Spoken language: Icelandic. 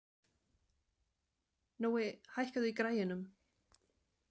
Nói, hækkaðu í græjunum.